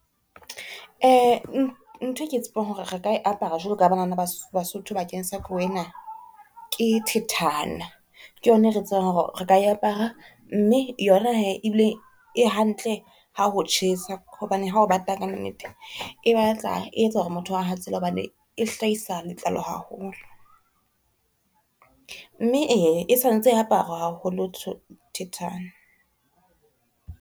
Nthwe ke e tsebang hore re ka e apara jwalo banana ba Basotho bakeng sa ke thithane, ke yona e re tsebang hore re ka e apara mme yona he ebile e hantle ha ho tjhesa, hobane hao bata ka nnete e batla e etsa hore motho a hatsele hobane e hlahisa letlalo haholo. Mme e, e santse e aparwa haholo thithane.